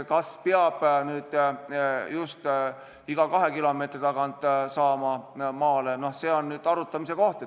Kas peab nüüd just iga 2 kilomeetri tagant maale saama, see on arutamise koht.